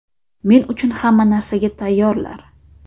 Men uchun hamma narsaga tayyorlar.